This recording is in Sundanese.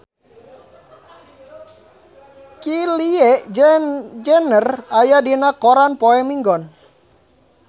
Kylie Jenner aya dina koran poe Minggon